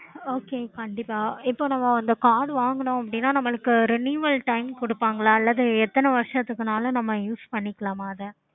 okay